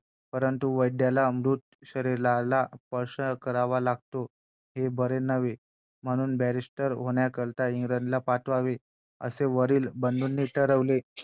काही दिवसांपूर्वी मी एक उंच माझा झोका ही एक serial बघत होते आणि तेव्हा रमाबाई रानडे रमाबाई महादेव रानडे यांच्या जीवनावरतती ती serial त्यांचा त्यांचा ती मालिका होती.